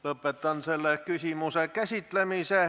Lõpetan selle küsimuse käsitlemise.